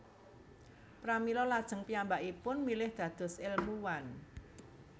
Pramila lajeng piyambakipun milih dados ilmuwan